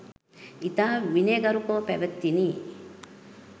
ඉතා විනයගරුකව පැවැතිණි.